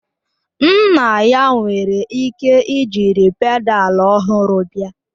Nna ya nwere ike jiri pedalu ọhụrụ bịa